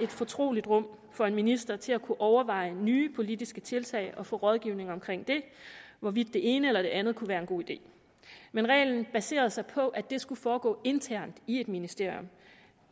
et fortroligt rum for en minister til at kunne overveje nye politiske tiltag og få rådgivning om hvorvidt det ene eller det andet kunne være en god idé reglen baserede sig på at det skulle foregå internt i et ministerium